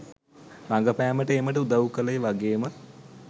රඟපෑමට ඒමට උදව් කළේ වගේම